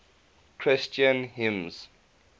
christian hymns